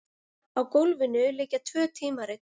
Á gólfinu liggja tvö tímarit.